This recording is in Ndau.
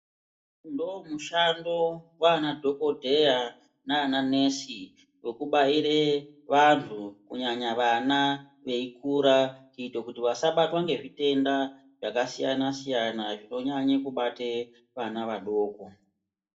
Ndoomushando waanadhokodheya naananesi wekubaire vanhu kunyanya vana veikura kuite kuti vasabatwe ngezvitenda zvakasiyana siyana zvinonyanye kubate ana adoko.